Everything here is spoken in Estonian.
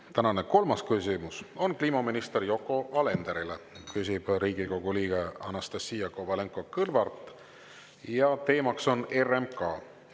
Tänane kolmas küsimus on kliimaminister Yoko Alenderile, küsib Riigikogu liige Anastassia Kovalenko-Kõlvart ja teema on RMK.